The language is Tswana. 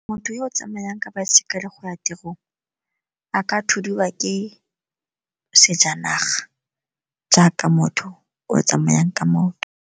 Motho yo o tsamayang ka baesekele go ya tirong a ka thudiwa ke sejanaga jaaka motho o tsamayang ka maoto.